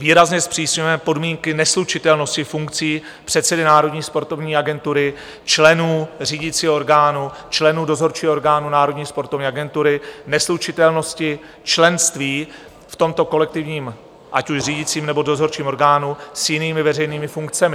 Výrazně zpřísňujeme podmínky neslučitelnosti funkcí předsedy Národní sportovní agentury, členů řídicího orgánu, členů dozorčího orgánu Národní sportovní agentury, neslučitelnosti členství v tomto kolektivním, ať už řídícím, nebo dozorčím orgánu, s jinými veřejnými funkcemi.